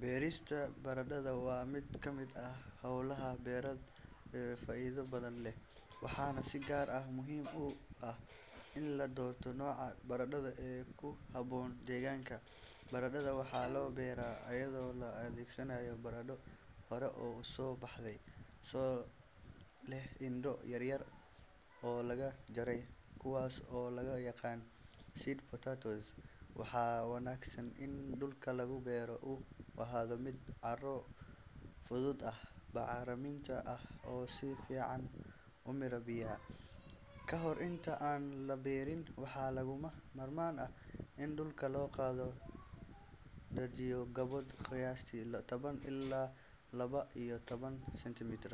Beerista baradhada waa mid ka mid ah howlaha beereed ee faa’iido badan leh, waxaana si gaar ah muhiim u ah in la doorto nooca baradho ee ku habboon deegaanka. Baradhada waxaa la beeraa iyadoo la adeegsanayo barandho hore u soo baxay oo leh indho yar yar oo laga jaray, kuwaas oo loo yaqaan seed potatoes. Waxaa wanaagsan in dhulka lagu beero uu ahaado mid carro fudud ah, bacrin ah, oo si fiican u miira biyaha. Ka hor inta aan la beerin, waxaa lagama maarmaan ah in dhulka la qodo oo loo diyaariyo godad qiyaastii toban ilaa laba iyo toban sentimitir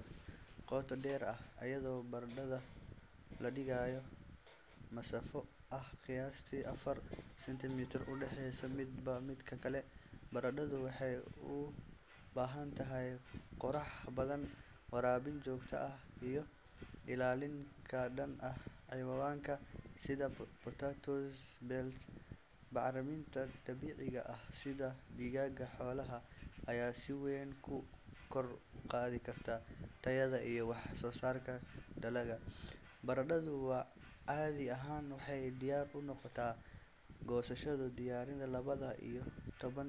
qoto dheer ah, iyadoo baradhada la dhigayo masaafo ah qiyaastii afartan sentimitir u dhexeeya midba midka kale. Baradhadu waxay u baahan tahay qorrax badan, waraabin joogto ah, iyo ilaalin ka dhan ah cayayaanka sida potato beetle. Bacriminta dabiiciga ah sida digada xoolaha ayaa si weyn u kor u qaadi karta tayada iyo wax-soosaarka dalagga. Baradhadu caadi ahaan waxay diyaar u noqotaa goosasho qiyaastii laba iyo toban ilaa afar iyo toban.